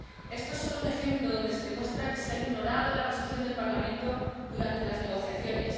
Este es solo un ejemplo donde se demuestra que se ha ignorado la posición del Parlamento durante las negociaciones.